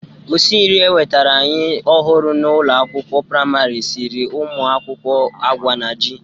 Osi nri ewetere anyị ọhụrụ n'ụlọ akwụkwọ prịmarị siri ụmụ akwụkwọ agwa na ji.